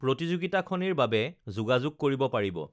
প্ৰতিযোগিতাখনিৰ বাবে যোগাযোগ কৰিব পাৰিব